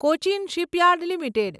Cochin shipyard limited